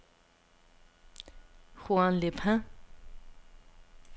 Juan-les-Pins